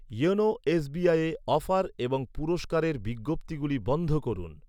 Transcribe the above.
YONO এসবিআইয়ে offer এবং পুরস্কারের বিজ্ঞপ্তিগুলি বন্ধ করুন।